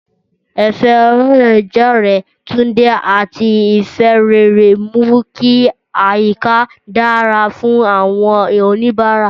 Ẹ̀fẹ̀ ọlọ́rẹ̀ẹ́jọ̀rẹ́ Tunde àti ìfẹ́ rere mú kí àyíká dára fún àwọn oníbàárà.